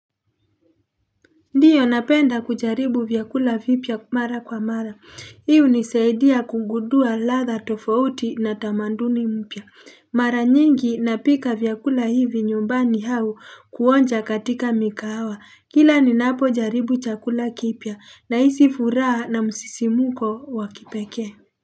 Ndiyo napenda kujaribu vyakula vipya mara kwa mara. Hi hunisaidia kugundua ladha tofauti na tamanduni mpya. Mara nyingi napika vyakula hivi nyumbani au kuonja katika mikahawa. Kila ninapojaribu chakula kipya nahisi furaha na msisimuko wa kipekee.